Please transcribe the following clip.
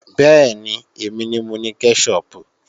Bẹ́ẹ̀ni, èmi ni mo ni kẹ́ṣọpù